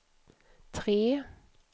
tre